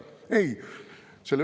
Ei!